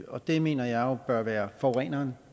og det mener jeg jo bør være forureneren